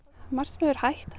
margt sem hefur hætt